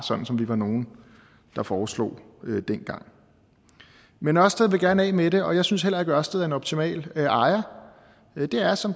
som vi var nogle der foreslog det dengang men ørsted vil gerne af med det og jeg synes heller ikke at ørsted er en optimal ejer det er som